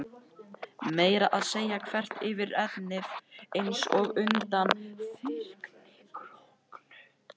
Meira að segja þvert yfir ennið, einsog undan þyrnikórónu.